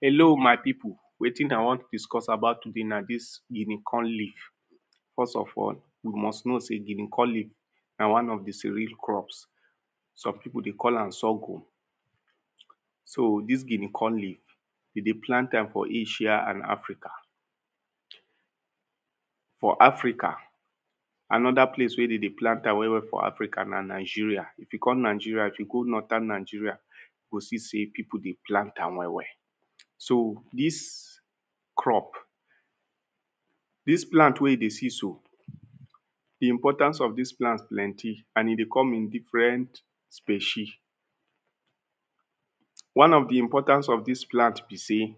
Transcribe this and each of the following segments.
Hello my people, wetin i wan discuss about today na dis guinea corn leaf. First of all, you must know sey guinea corn leaf na one of the cereal crops Some people dey call am sorghum. So, dis guinea corn leaf They dey plant am for asia and africa. For africa, another place wey de dey plant am well well na Nigeria. If you come Nigeria, if you go northern Nigeria, you go see sey people dey plant am well well. So, dis crop dis plant wey you dey see so, the importance of dis plant plenty and e dey come in different species. One of the importance of dis plant be sey,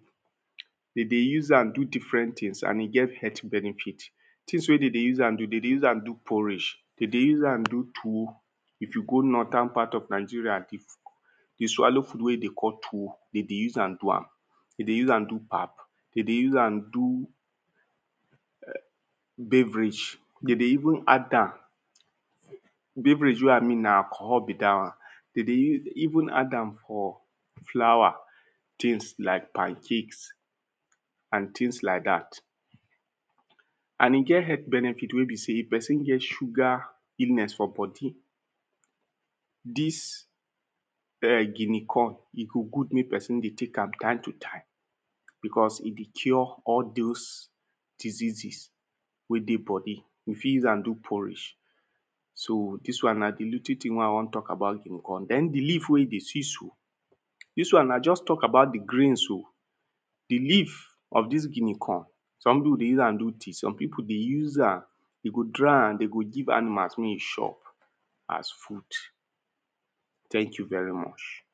they dey use am do different things and e get health benefit. Things wey they dey use am do: they dey use am do porridge, they dey use am do tuwo. If you go northern part of Nigeria, you swallow food wey e dey call tuwo, they dey use am do am. they dey use am do pap. They dey use am do beverage. They dey even add am beverage wey i mean na alcohol be dat one. They dey use even add am for flour. Things like pancake and things like dat. And e get health benefit wey be sey if person get sugar illness for body dis um guinea corn, e go good make person dey take am time to time because e dey cure all dos diseases wey dey body. We fit use am do porridge. So, dis one na the little thing wey i wan talk about guinea corn. Den the leaf wey you dey see so. dis one i just talk about the grains oh. The leaf of dis guinea corn some people dey use am do tea. Some people dey use am e go dry and they go give animal mey e chop as food. Thank you very much.